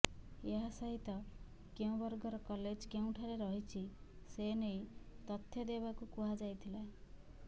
ଏହାସହିତ କେଉଁ ବର୍ଗର କଲେଜ କେଉଁଠାରେ ରହିଛି ସେ ନେଇ ତଥ୍ୟ ଦେବାକୁ କୁହାଯାଇଥିଲା